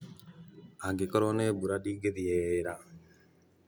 angĩkorwo nĩ mbura ndingĩthiĩ wĩra